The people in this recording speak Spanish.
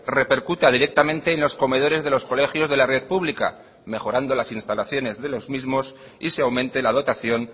repercuta directamente en los comedores de los colegios de la red pública mejorando las instalaciones de los mismos y se aumente la dotación